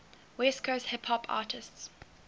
west coast hip hop artists